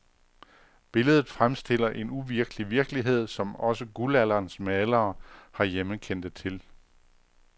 Billedet fremstiller en uvirkelig virkelighed, som også guldalderens malere herhjemme kendte til.